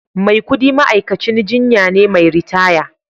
Maikudi ma'aikacin jinya ne mai ritaya